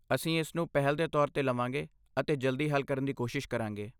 ਅਸੀਂ ਇਸ ਨੂੰ ਪਹਿਲ ਦੇ ਤੌਰ 'ਤੇ ਲਵਾਂਗੇ ਅਤੇ ਜਲਦੀ ਹੱਲ ਕਰਨ ਦੀ ਕੋਸ਼ਿਸ਼ ਕਰਾਂਗੇ।